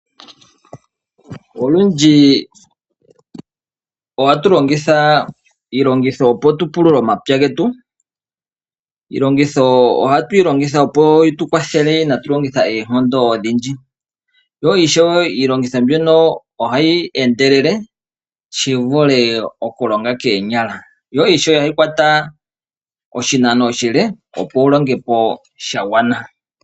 Olundji ohatu longitha iilongitho opo tu pulule omapya getu. Iilongitho ohatu yi longitha opo yitu kwathele kaatu longithe oonkondo odhindji. Yo ishewe iilongitho mbyono ohayi endelele shivule okulonga koonyala, yo ishewe ohayi kwata oshinano oshile opo wulonge po shagwana.